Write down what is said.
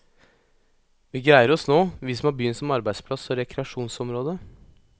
Vi greier oss nå, vi som har byen som arbeidsplass og rekreasjonsområde.